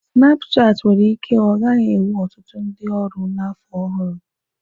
Snapchat nwere ike ọ gaghị enwe ọtụtụ ndị ọrụ na afọ ọhụrụ.